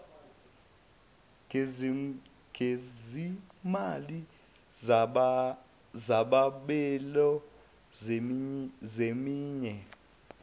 gezimali zezabelo zeminye